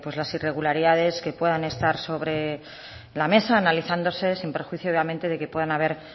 las irregularidades que puedan estar sobre la mesa analizándose sin perjuicio obviamente de que puedan haber